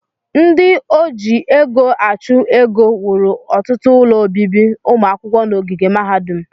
Ndị oji ego achụ ego wuru ọtụtụ ụlọ obibi ụmụ akwụkwọ n'ogige mahadum